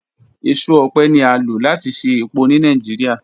Eso ọpẹ ni a lo lati ṣe epo ni Nigeria